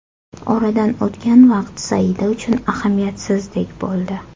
Oradan o‘tgan vaqt Saida uchun ahamiyatsizdek bo‘ldi.